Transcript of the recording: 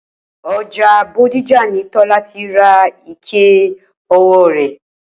O̩jà Bódìjà ni Tó̩lá ti ra ike o̩wó̩ rè̩